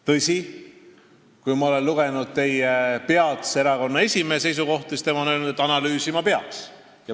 Tõsi, ma olen lugenud teie erakonna peatse esimehe seisukohta, tema on öelnud, et analüüsima peaks.